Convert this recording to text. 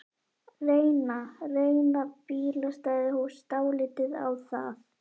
Reyna, reyna bílastæðahús dálítið á það?